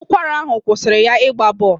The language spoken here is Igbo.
Ụkwara ahụ kwụsịrị ya ịgba bọl.